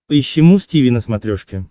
поищи муз тиви на смотрешке